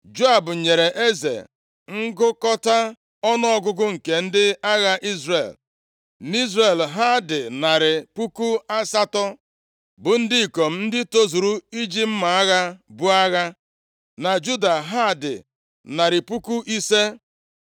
Joab nyere eze ngụkọta ọnụọgụgụ nke ndị agha Izrel. NʼIzrel, ha dị narị puku asatọ, bụ ndị ikom ndị tozuru iji mma agha buo agha, na Juda ha dị narị puku ise.